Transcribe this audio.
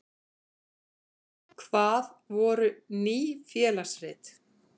Hvað voru Ný félagsrit?